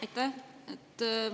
Aitäh!